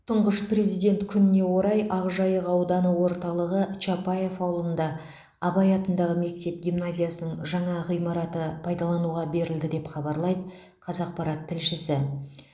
тұңғыш президент күніне орай ақжайық ауданы орталығы чапаев ауылында абай атындағы мектеп гимназиясының жаңа ғимараты пайдалануға берілді деп хабарлайды қазақпарат тілшісі